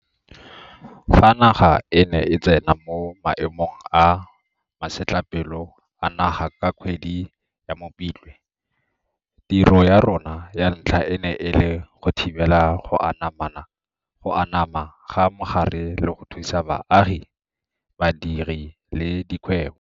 Fa naga e ne e tsena mo Maemong a Masetlapelo a Naga ka kgwedi ya Mopitlwe, tiro ya rona ya ntlha e ne e le go thibela go anama ga mogare le go thusa baagi, badiri le dikgwebo.